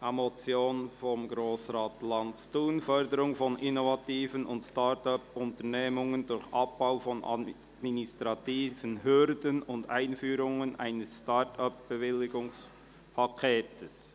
einer Motion von Grossrat Lanz, Thun, «Förderung von Innovation und Start-up-Unternehmen durch Abbau von administrativen Hürden und Einführung eines ‹Start-up-Bewilligungspakets›».